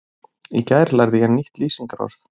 Í gær lærði ég nýtt lýsingarorð.